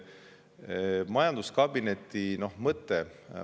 Mis on majanduskabineti mõte?